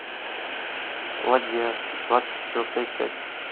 ладья двадцать четвертая часть